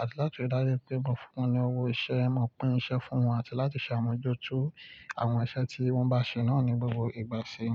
àti láti dájú pé mo fún wọn ní owó ìṣe, mo pín iṣẹ́ fún wọn àti láti ṣàmójútó àwọn iṣẹ́ tí wọ́n bá ṣe náà ní gbogbo ìgbà ṣe é.